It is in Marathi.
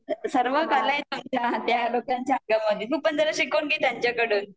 सर्व कला आहेत तुमच्या त्या लोकांच्या अंगामध्ये तू पण जरा शिकून घे त्यांच्याकडून